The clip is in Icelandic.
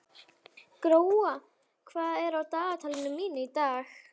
Gróa, hvað er á dagatalinu mínu í dag?